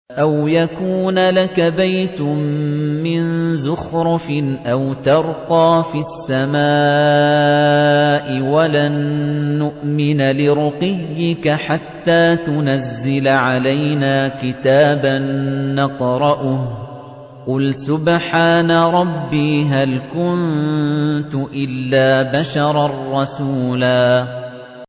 أَوْ يَكُونَ لَكَ بَيْتٌ مِّن زُخْرُفٍ أَوْ تَرْقَىٰ فِي السَّمَاءِ وَلَن نُّؤْمِنَ لِرُقِيِّكَ حَتَّىٰ تُنَزِّلَ عَلَيْنَا كِتَابًا نَّقْرَؤُهُ ۗ قُلْ سُبْحَانَ رَبِّي هَلْ كُنتُ إِلَّا بَشَرًا رَّسُولًا